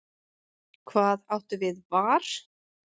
Hvað áttu við var?